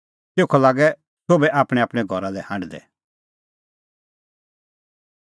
तेखअ लागै सोभै आपणैंआपणैं घरा लै हांढदै